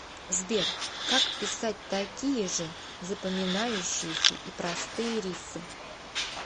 сбер как писать такие же запоминающиеся и простые риффы